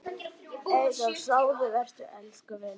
Eyþór, sofðu vært elsku vinur.